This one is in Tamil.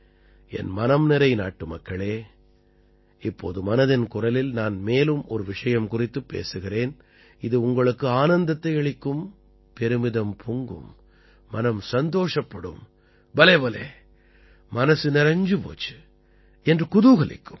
என் மனம் நிறை நாடுமக்களே இப்போது மனதின் குரலில் நான் மேலும் ஒரு விஷயம் குறித்துப் பேசுகிறேன் இது உங்களுக்கு ஆனந்தத்தை அளிக்கும் பெருமிதம் பொங்கும் மனம் சந்தோஷப்படும் பலே பலே மனசு நிறைஞ்சு போச்சு என்று குதூகலிக்கும்